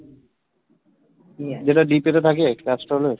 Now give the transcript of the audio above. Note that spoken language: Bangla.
যেটা তে থাকে ক্যাস্ট্রল এর?